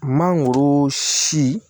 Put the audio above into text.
Mangoro si